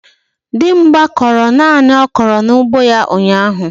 Dimgba kụrụ nani okra n'ugbo ya ụnyahụ.